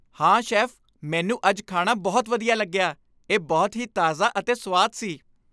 ਹਾਂ, ਸ਼ੈੱਫ, ਮੈਨੂੰ ਅੱਜ ਖਾਣਾ ਬਹੁਤ ਵਧੀਆ ਲੱਗਿਆ। ਇਹ ਬਹੁਤ ਹੀ ਤਾਜ਼ਾ ਅਤੇ ਸੁਆਦ ਸੀ।